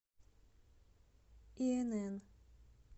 инн